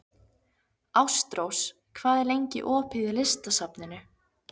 Ástrós, hvað er lengi opið í Listasafninu?